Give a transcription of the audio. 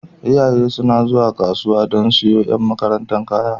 Iyaye suna zuwa kasuwa don siyowa ƴan makaranta kaya.